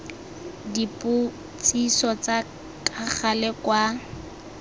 dipotsiso tsa ka gale kwa